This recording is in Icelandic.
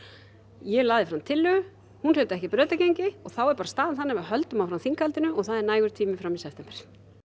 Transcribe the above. ég lagði fram tillögu hún hlaut ekki brautargengi og þá er bara staðan þannig að við höldum áfram þinghaldinu og það er nægur tími fram í september